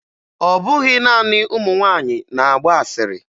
Ọ bụghị naanị ụmụ nwaanyị na-agba asịrị